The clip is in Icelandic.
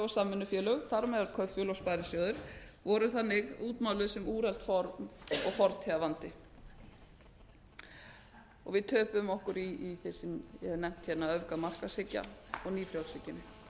samvinnufélög þar með talin kaupfélög og sparisjóðir voru þannig útmáluð sem úrelt form og fortíðarvandi og við töpuðum okkur í því sem ég hef nefnt hérna öfgamarkaðshyggju og nýfrjálshyggjunni